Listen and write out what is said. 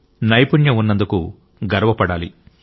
నైపుణ్యం ఉన్నందుకు గర్వపడాలి